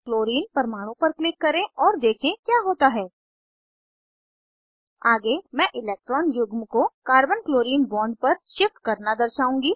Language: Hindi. क्लोरीन परमाणु पर क्लिक करें और देखें क्या होता है आगे मैं इलेक्ट्रान युग्म को कार्बन क्लोरीन बॉन्ड पर शिफ्ट करना दर्शाउंगी